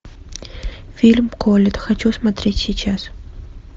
фильм колетт хочу смотреть сейчас